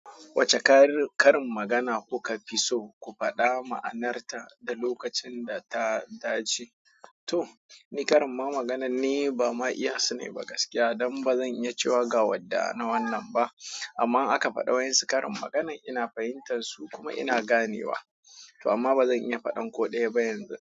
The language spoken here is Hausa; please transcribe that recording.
Wacce karin magana kuka fi so ku faɗa ma'anarta da lokacin da ta dace? To, ni karin magana ne, ban ma iya sani ba gaskiya, don ba zan iya cewa gawadda na wannan ba amma aka faɗa wa yanzu karin magana ina fahimtar su, kuma ina ganewa. Amma ba zan iya faɗan ko ɗaya ba yanzu.